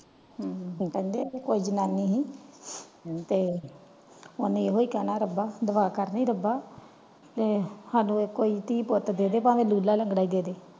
ਕਹਿੰਦੇ ਇਥੇ ਕੋਇ ਜਨਾਨੀ ਸੀ ਤੇ ਓਹਨੇ ਹੀ ਕਹਿਣਾ ਰੱਬਾ ਦੁਆ ਕਰਨੀ ਰੱਬਾ ਕੇ ਪ੍ਰਮਾਤਨਾ ਕੇ ਸਾਨੂ ਇਕ ਕੋਇ ਧੀ ਪੁੱਟ ਦੇਦੇ ਪਾਵੇ ਲੁਲਾ ਲੈਂਦਾ ਹੀ ਦੇਦੇ।